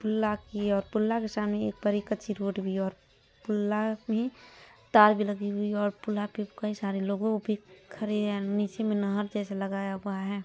पुला की है और पुला के सामने एक बड़ी कच्ची रोड भी है और पुला भी तार भी लगी हुई है और पुल्ला पे कई सारे लोगो भी खड़े है और नीचे में नहर जैसा लगाया हुआ है।